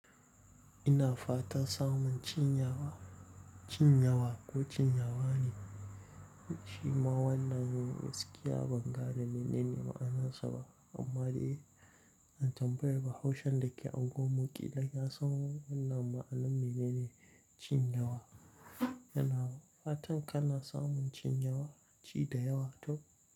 Ina fatan samun cin yawa, cin yawa ko cinyawa ne, shi ma wannan yin gaskiya ban ga da menene ma'anarsa ba amma dai zan tambaye bahaushen da ke unguwarmu ƙila ya san wannan ma'anan me ne ne cin yawa. Yana fata kana samun cin yawa, ci da yawa to.